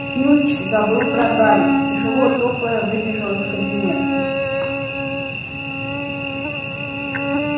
филч забыл про гарри и тяжело топая выбежал из кабинета